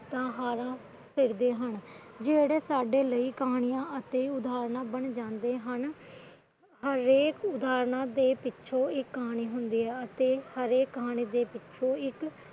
ਜਿਤਾ ਹਾਰਾਂ ਸਿਰਜਦੇ ਹਮ ਜਿਹੜੀਆਂ ਸਾਡੇ ਲਈ ਕਹਾਣੀਆਂ ਅਤੇ ਉਦਾਹਰਣਾ ਬਣ ਜਾਂਦੇ ਹਨ ਹਰੇਕ ਉਦਾਹਰਣ ਦੇ ਪਿਛੇ ਇੱਕ ਕਹਾਣੀ ਹੁੰਦੀ ਹੈ ਅਤੇ ਹਰੇਕ ਕਹਾਣੀ ਦੇ ਪਿਛੇ ਇੱਕ